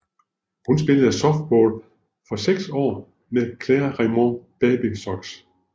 Hun spillede softball for seks år med Clairemont Bobby Sox